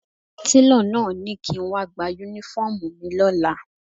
Télọ̀ náà ni kí n wá gba Únífọ́ọ̀mù mi lọ́la